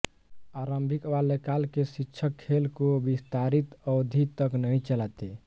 आरंभिक बाल्यकाल के शिक्षक खेल को विस्तारित अवधि तक नहीं चलाते